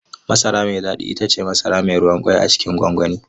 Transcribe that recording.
Masara mai daɗi ita ce masara mai ruwan ƙwai a cikin gwangwani.